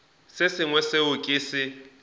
se sengwe seo ke se